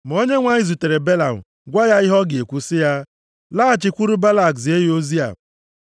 Ma Onyenwe anyị zutere Belam gwa ya ihe ọ ga-ekwu sị ya, “Laghachikwuru Balak zie ya ozi a.”